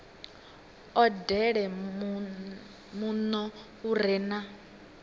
odele muno u re na